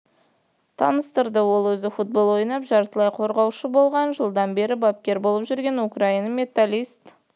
таныстырды ол өзі футбол ойнап жартылай қорғаушы болған жылдан бері бапкер болып жүр украинаның металлист